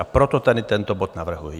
A proto tady tento bod navrhuji.